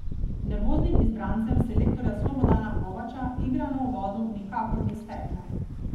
Nervoznim izbrancem selektorja Slobodana Kovača igra na uvodu nikakor ni stekla.